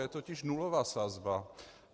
Je totiž nulová sazba.